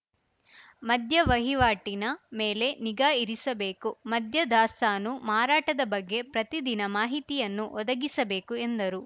ಮದ್ಯ ವಹಿವಾಟಿನ ಮೇಲೆ ನಿಗಾ ಇರಿಸಬೇಕು ಮದ್ಯ ದಾಸ್ತಾನು ಮಾರಾಟದ ಬಗ್ಗೆ ಪ್ರತಿ ದಿನ ಮಾಹಿತಿಯನ್ನು ಒದಗಿಸಬೇಕು ಎಂದರು